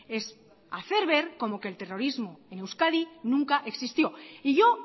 es hacer ver como que el terrorismo en euskadi nunca existió y yo